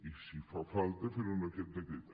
i si fa falta fer ho amb aquest decret